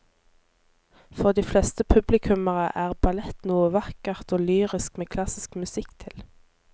For de fleste publikummere er ballett noe vakkert og lyrisk med klassisk musikk til.